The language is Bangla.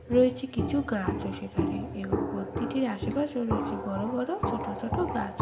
রয়েছে কিছু গাছ ও সেখানে এবং মূর্তিটির আশেপাশে রয়েছে বড়ো বড়ো ছোটো ছোটো গাছ।